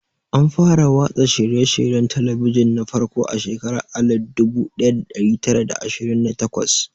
An fara watsa shirye-shiryen talabijin na farko a shekarar alif dubu daya da dari tara da ashirin da takwas.